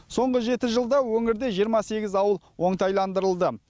соңғы жеті жылда өңірде жиырма сегіз ауыл оңтайландырылды